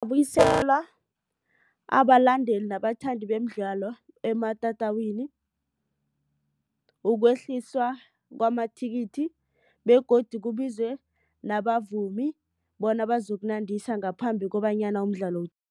Abalandeli nabathandi bemidlalo ematatawini ukwehliswa kwamathikithi begodu kubizwe nabavumi bona bazokunandisa ngaphambi kobanyana umdlalo